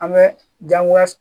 An bɛ gankoya